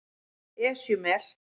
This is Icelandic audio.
Esjumel